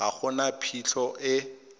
ga go na phitlho e